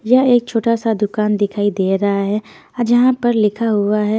यह एक छोटा सा दुकान दिखाई दे रहा है ह जहाँ पर लिखा हुआ है।